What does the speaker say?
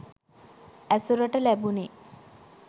ඇසුරට ලැබුණෙ.